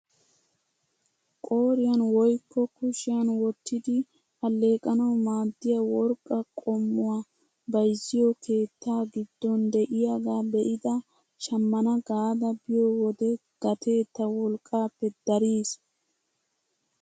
Qoriyaan woykko kushiyaan wottidi alleqanawu maaddiyaa worqqaa qommuwaa bayzziyoo keettaa giddon de'iyaagaa be'ada shammana gaada biyo wode gatee ta wolqqaappe dariis!